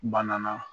Banana